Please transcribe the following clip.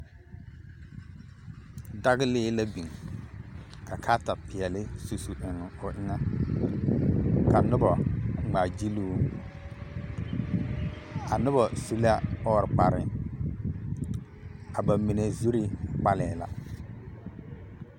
Dagilee la biŋ ka karetapeɛle su su eŋ o eŋɛ ka nobɔ ŋmaa gyiluu, a nobɔ su la ɔɔre kpare, a bamine zuri kpalɛɛ la.